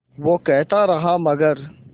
वो कहता रहा मगर